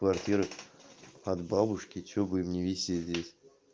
квартиры от бабушки чтобы им не висеть здесь